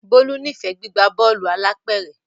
Bolu n'ifẹ gbigba Bọ́ọ̀lù alápẹ̀rẹ̀.